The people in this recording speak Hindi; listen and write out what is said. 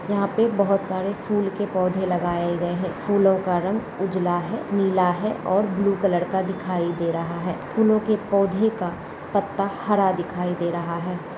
यहाँ पे बहोत सारे फूल के पौधे लगाए गए हैं। फूलों का रंग उजला है नीला है और ब्लू कलर का दिखाई दे रहा है। फूलों के पौधे का पत्ता हरा दिखाई दे रहा है।